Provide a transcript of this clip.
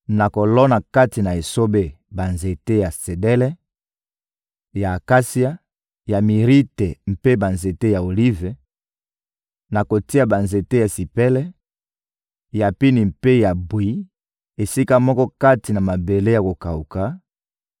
nakolona kati na esobe: banzete ya sedele, ya akasia, ya mirite mpe banzete ya olive; nakotia banzete ya sipele, ya pini mpe ya bwi esika moko kati na mabele ya kokawuka,